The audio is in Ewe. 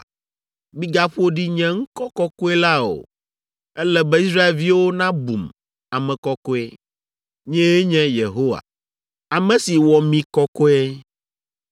Migaƒo ɖi nye ŋkɔ kɔkɔe la o. Ele be Israelviwo nabum ame kɔkɔe. Nyee nye Yehowa, ame si wɔ mi kɔkɔe,